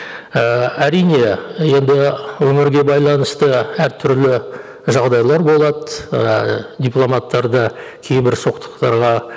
ііі әрине енді өмірге байланысты әртүрлі жағдайлар болады ыыы дипломаттар да кейбір соқтықтарға